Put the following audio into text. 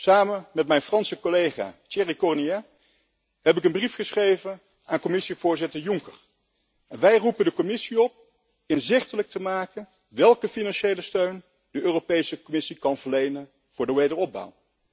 Samen met mijn Franse collega Thierry Cornillet heb ik een brief geschreven aan Commissievoorzitter Juncker en wij roepen de Commissie op inzichtelijk te maken welke financiële steun de Europese Commissie kan verlenen voor de wederopbouw.